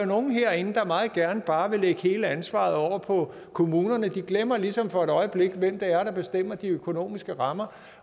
nogle herinde der meget gerne bare vil lægge hele ansvaret over på kommunerne de glemmer ligesom for et øjeblik hvem det er der fastlægger de økonomiske rammer